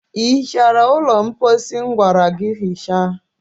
Ị hichara ụlọ mposi m gwara gị hichaa?